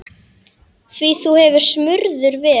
Því þú hefur smurður verið.